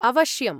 अवश्यम्।